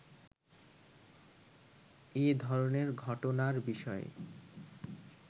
“এ ধরনের ঘটনার বিষয়ে